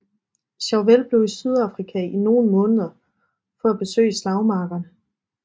Chauvel blev i Sydafrika i nogle måneder for at besøge slagmarkerne